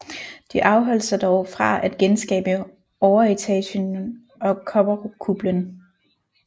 De afholdt sig dog fra at genskabe overetagen og kobberkuplen